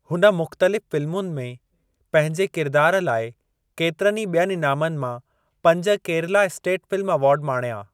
हुन मुख़्तलिफ़ फ़िल्मुनि में पंहिंजे किरिदारु लाइ केतिरनि ई ॿियनि इनामनि मां पंज केरला स्टेट फ़िल्म अवार्ड माणिया।